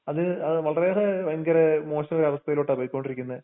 അത് അഹ് വളരെയേറെ ഭയങ്കര മോശവായ അവസ്ഥയെലോട്ടപോയ്കോണ്ടിരിക്കുന്നെ.